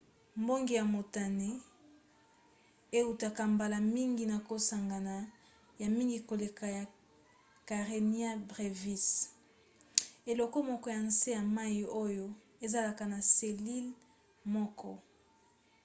mbonge ya motane eutaka mbala mingi na kosangana ya mingi koleka ya karenia brevis eloko moko ya nse ya mai oyo ezalaka na selile moko